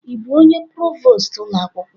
Ị bụ onye provost ụlọ akwụkwọ?